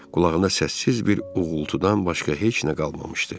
Qulağına səssiz bir uğultudan başqa heç nə qalmamışdı.